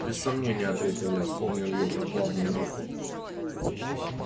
без сомнения ответил я вспомнив её прохладную руку